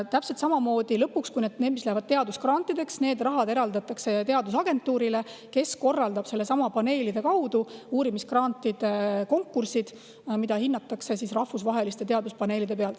Lõpuks eraldatakse see raha, mis läheb teadusgrantideks, täpselt samamoodi teadusagentuurile, kes korraldab paneelide kaudu uurimisgrantide konkursid, mida hindavad rahvusvahelised teaduspaneelid.